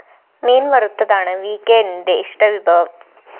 മീന്‍ വറുത്തതാണ് വികെഎന്നിന്റെ ഇഷ്ടവിഭവം